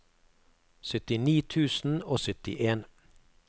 syttini tusen og syttien